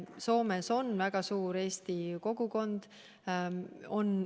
Soomes on väga suur eestlaste kogukond.